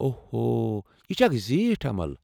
اوہ اوہ، یہ چھےٚ اکھ زیٖٹھ عمل۔